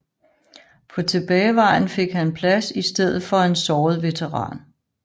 På tilbagevejen fik han plads i stedet for en såret veteran